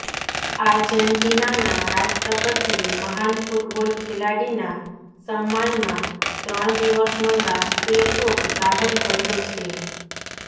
આર્જેન્ટિનાના રાષ્ટ્રપતિએ મહાન ફૂટબોલ ખેલાડીના સમ્માનમાં ત્રણ દિવસનો રાષ્ટ્રીય શોક જાહેર કર્યો છે